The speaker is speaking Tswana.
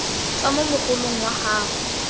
tswa mo mogolong wa gago